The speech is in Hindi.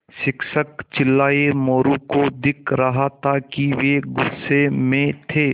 शिक्षक चिल्लाये मोरू को दिख रहा था कि वे गुस्से में थे